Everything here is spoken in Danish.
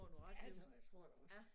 Ja det tror jeg tror jeg da også